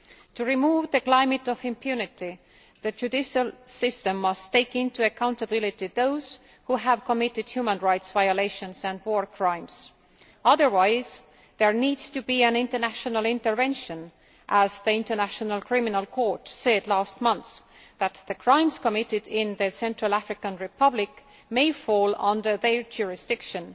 To remove the climate of impunity, the judicial system must make accountable those who have committed human rights violations and war crimes. Otherwise, there needs to be an international intervention, as the International Criminal Court said last month that the crimes committed in the Central African Republic may fall under its jurisdiction.